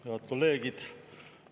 Head kolleegid!